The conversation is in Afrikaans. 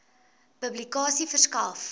publikasie verskaf